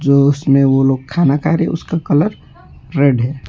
जो उसमें वो लोग खाना खा रहे हैं उसका कलर रेड है।